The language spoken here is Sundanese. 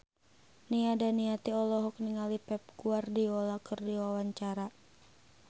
Nia Daniati olohok ningali Pep Guardiola keur diwawancara